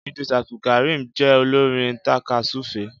Idrees Abdulkareem jé olorin takasufe